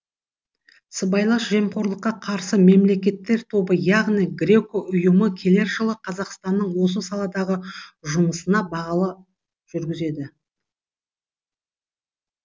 сыбайлас жемқорлыққа қарсы мемлекеттер тобы яғни греко ұйымы келер жылы қазақстанның осы саладағы жұмысына бағалау жүргізеді